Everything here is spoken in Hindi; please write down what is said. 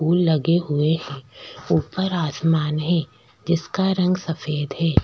फूल लगे हुए है ऊपर आसमान है जिसका रंग सफ़ेद हे।